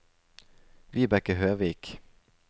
Vibeke Høvik